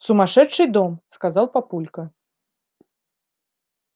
сумасшедший дом сказал папулька